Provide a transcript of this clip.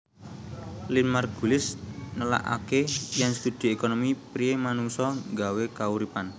Lynn Margulis nelakaké yèn studi ékonomi priyé manungsa nggawé kauripan